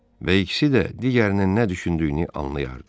Və ikisi də digərinin nə düşündüyünü anlayırdı.